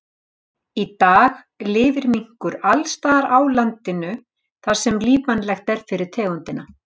Í dag lifir minkur alls staðar á landinu þar sem lífvænlegt er fyrir tegundina.